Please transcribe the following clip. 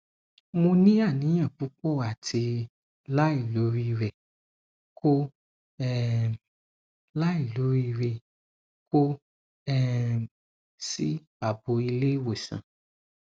mo ni aniyan pupo ati lailoriire ko um lailoriire ko um si abo ile iwosan